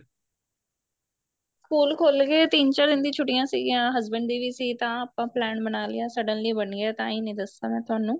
school ਖੁੱਲਗੇ ਤਿੰਨ ਚਾਰ ਦਿਨ ਦੀ ਛੁੱਟੀਆਂ ਸੀਗੀਆਂ husband ਦੀ ਵੀ ਸੀ ਤਾਂ ਆਪਾਂ plain ਬਣਾ ਲਿਆ suddenly ਬਣੀ ਏ ਤਾਹੀ ਨੀਂ ਦੱਸਿਆ ਮੈਂ ਤੁਹਾਨੂੰ